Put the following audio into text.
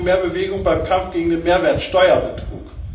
Wir brauchen mehr Bewegung beim Kampf gegen den Mehrwertsteuerbetrug.